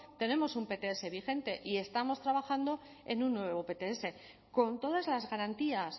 tenemos un pts vigente y estamos trabajando en un nuevo pts con todas las garantías